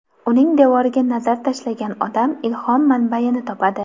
Uning devoriga nazar tashlagan odam ilhom manbayini topadi”.